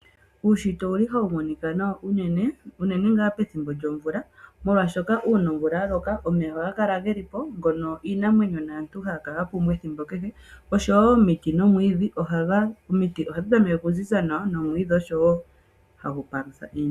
Uunshitwe ohawu monika nawa unene , unene ngaa pethimbo lyomvula molwaashoka uuna omvula ya loka omeya ohaga kala geli po, ngono iinamwenyo naantu haya kala ya pumbwa ethimbo kehe oshowo omiti nomwiidhi . Omiti nomwiidhi ohadhi tameke okuziza nawa.